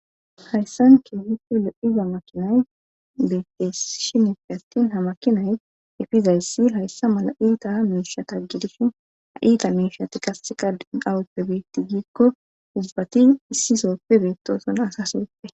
hayssan kehihe le7iza makinay beettes shinefe attin ha makinay efizayssi hayssa mala iita miisha taggidishin ha iita miishati kassi qadin awuppe beetti giikko uzbati issisooppe beettosona sasibitte